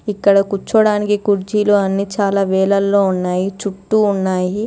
ఇక్కడ కూర్చోవడానికి కుర్చీలు అన్ని చాలా వేలల్లో ఉన్నాయి. చుట్టూ ఉన్నాయి.